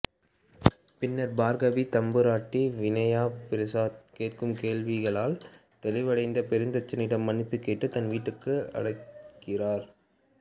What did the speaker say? பின்னர் பார்கவி தம்புராட்டி வினயா பிரசாத் கேட்கும் கேள்விகளால் தெளிவடைந்து பெருந்தச்சனிடம் மன்னிப்புக்கேட்டு தன் வீட்டுக்கு அழைக்கிறார்